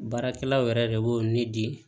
Baarakɛlaw yɛrɛ de b'o ne di